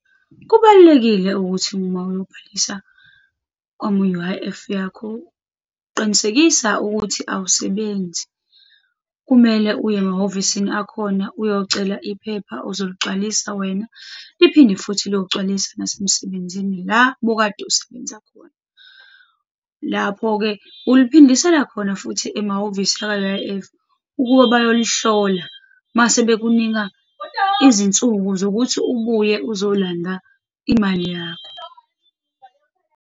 Kubalulekile ukuthi uma uyobhalisa noma u-U_I_F yakho, qinisekisa ukuthi awusebenzi. Kumele uye emahhovisini akhona, uyocela iphepha uzoligcwalisa wena, liphinde futhi liyogcwaliswa nasemsebenzini la obukade usebenza khona. Lapho-ke uliphindisela khona futhi emahhovisi aka-U_I_F ukuba bayolihlola, mase bekunika izinsuku zokuthi ubuye uzolanda imali yakho.